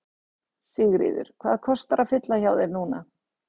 Sigríður: Hvað kostar að fylla hjá þér núna?